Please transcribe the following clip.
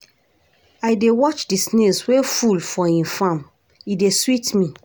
I dey watch di snails wey full for im farm, e dey sweet me.